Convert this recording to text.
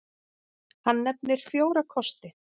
Hann nefnir fjóra kosti.